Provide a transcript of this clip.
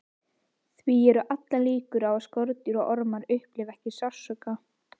því eru allar líkur á að skordýr og ormar upplifi ekki sársauka